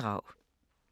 DR1